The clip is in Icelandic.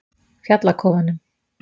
Fjallakofanum